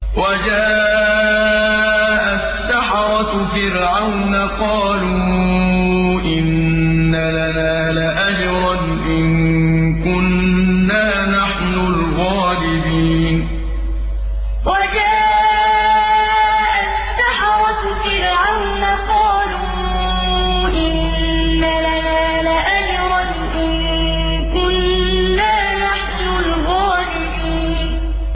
وَجَاءَ السَّحَرَةُ فِرْعَوْنَ قَالُوا إِنَّ لَنَا لَأَجْرًا إِن كُنَّا نَحْنُ الْغَالِبِينَ وَجَاءَ السَّحَرَةُ فِرْعَوْنَ قَالُوا إِنَّ لَنَا لَأَجْرًا إِن كُنَّا نَحْنُ الْغَالِبِينَ